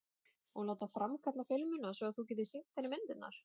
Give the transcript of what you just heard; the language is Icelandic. Og láta framkalla filmuna svo að þú getir sýnt henni myndirnar?